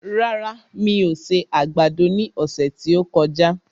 Rárá, mi ò se àgbàdo ní ọ̀sẹ̀ tí ó kọjá